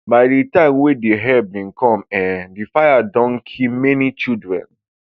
by di time wey di help bin come um di fire don already kill many children